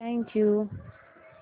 thank you